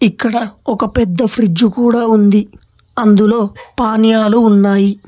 ఇక్కడ ఒక పెద్ద ఫ్రిజ్ కూడా ఉంది అందులో పానీయాలు ఉన్నాయి.